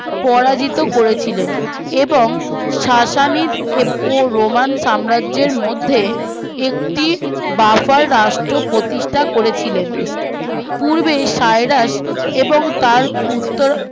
পরাজিত করেছিলেন এবং সাসানীর ও রোমান সাম্রাজ্যের মধ্যে একটি বাফার রাষ্ট্র প্রতিষ্ঠা করেছিলেন পূর্বেই সাইরাস এবং তার উত্তর